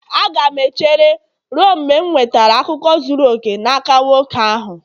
Aga m echere ruo mgbe m nwetara akụkọ zuru oke n'aka nwoke ahụ